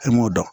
E m'o dɔn